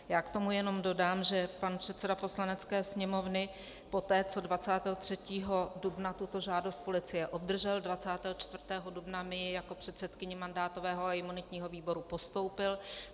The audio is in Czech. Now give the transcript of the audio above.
Já k tomu jenom dodám, že pan předseda Poslanecké sněmovny poté, co 23. dubna tuto žádost policie obdržel, 24. dubna mi ji jako předsedkyni mandátového a imunitního výboru postoupil.